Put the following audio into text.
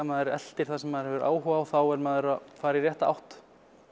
maður eltir það sem maður hefur áhuga á þá er maður að fara í rétta átt